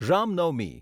Ram Navami